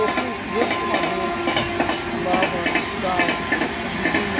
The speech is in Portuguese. Eu fui um grande fumador, fumava cigarro, ou bebia.